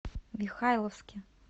михайловске